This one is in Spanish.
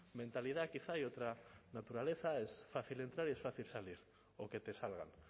mentalidad quizá y otra naturaleza es fácil entrar y es fácil salir o que te salgan